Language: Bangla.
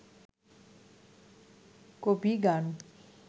কবিগান